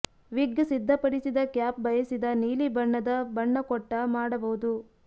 ವಿಗ್ ಸಿದ್ಧಪಡಿಸಿದ ಕ್ಯಾಪ್ ಬಯಸಿದ ನೀಲಿ ಬಣ್ಣದ ಬಣ್ಣ ಕೊಟ್ಟ ಮಾಡಬಹುದು